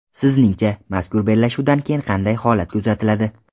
Sizningcha, mazkur bellashuvdan keyin qanday holat kuzatiladi?